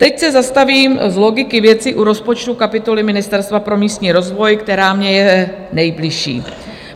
Teď se zastavím z logiky věci u rozpočtu kapitoly Ministerstva pro místní rozvoj, která mně je nejbližší.